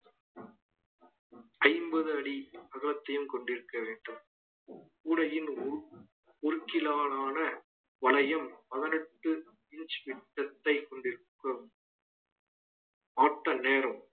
ஐம்பது அடி அகலத்தையும் கொண்டிருக்க வேண்டும் கூடையின் ஊ~ ஊர்க்கிலான வளையம் பதினெட்டு inch விட்டத்தைக் கொண்டிருக்கும் ஆட்ட நேரம்